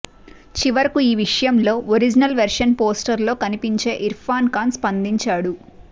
చివరకు ఈ విషయంలో ఒరిజినల్ వెర్షన్ పోస్టర్ లో కనిపించే ఇర్ఫాన్ ఖాన్ స్పందించాడు